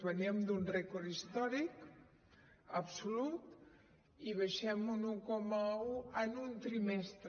veníem d’un rècord històric absolut i baixem un un coma un en un trimestre